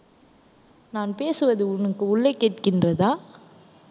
நான் பேசுவது உனக்கு உள்ளே கேட்கின்றதா